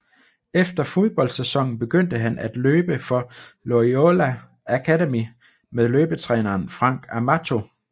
Efter fodboldsæsonen begyndte han at løbe for Loyola Academy med løbetræneren Frank Amato